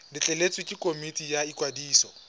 letleletswe ke komiti ya ikwadiso